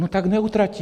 No tak neutratí.